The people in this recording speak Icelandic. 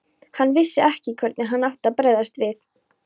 Hann vissi ekki hvernig hann átti að bregðast við.